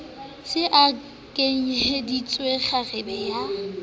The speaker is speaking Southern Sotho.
se a kwenehetse kgarebe ya